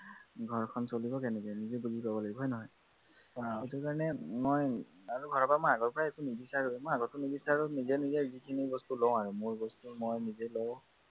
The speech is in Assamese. ঘৰখন চলিব কেনেকে নিজে বুজি লব লাগিব হয় নহয় সেইটো কাৰনে মই আৰু ঘৰৰ পৰা মই আগৰ পৰা একো নিবিচাৰোৱেই, মই আগতো নিবিচাৰো নিজে নিজে যিখিনি বস্তু লওঁ আৰু, মোৰ বস্তু মই নিজে লওঁ